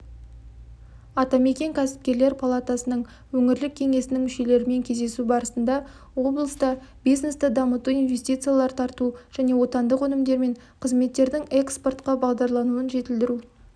атамекен кәсіпкерлер палатасының өңірлік кеңесінің мүшелерімен кездесу барысында облыста бизнесті дамыту инвестициялар тарту және отандық өнімдер мен қызметтердің экспортқа бағдарлануын жетілдіру